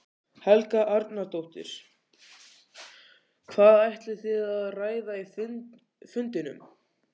Helga Arnardóttir: Hvað ætlið þið að ræða á fundinum?